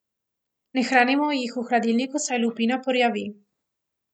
Ne hranimo jih v hladilniku, saj lupina porjavi.